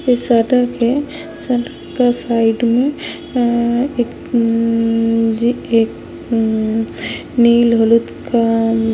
इस अड्डा पे सड़क के साइड में ये ये एक उम उम जी एक उम उम निल हुलूत का --